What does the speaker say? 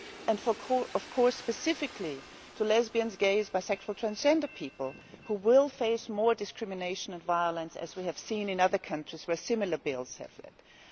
and of course, specifically for lesbians, gays, bisexual and transgender people, who will face more discrimination and violence, as we have seen in other countries where similar bills have been passed.